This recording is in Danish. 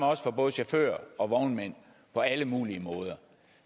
også for både chauffører og vognmænd på alle mulige måder